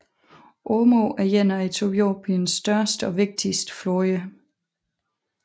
Omo er en af Etiopiens største og vigtigste floder